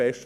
Besten